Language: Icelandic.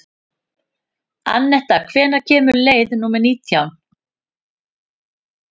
Anetta, hvenær kemur leið númer nítján?